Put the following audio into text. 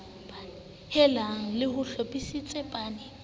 helang le ho hlophisetsa pan